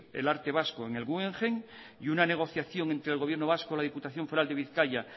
el arte vasco en el guggenheim y una negociación entre el gobierno vasco la diputación foral de bizkaia